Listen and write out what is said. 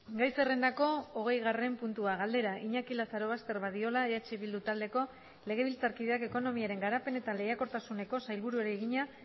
gai zerrendako hogeigarren puntua galdera iñaki lazarobaster badiola eh bildu taldeko legebiltzarkideak ekonomiaren garapen eta lehiakortasuneko sailburuari egina